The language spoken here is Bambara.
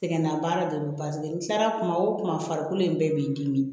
Sɛgɛnna baara de do paseke n kilara kuma o kuma farikolo in bɛɛ b'i dimi